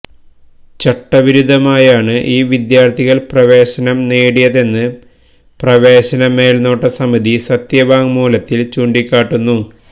ചട്ടവിരുദ്ധമായാണ് ഈ വിദ്യാര്ത്ഥികള് പ്രവേശനം നേടിയതെന്ന് പ്രവേശന മേല്നോട്ട സമിതി സത്യവാങ്മൂലത്തില് ചൂണ്ടിക്കാട്ടുന്നു